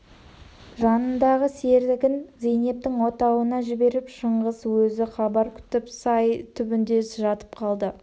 жанындағы серігін зейнептің отауына жіберіп шыңғыс өзі хабар күтіп сай түбінде жатып қалды